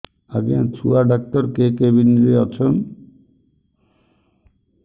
ଆଜ୍ଞା ଛୁଆ ଡାକ୍ତର କେ କେବିନ୍ ରେ ଅଛନ୍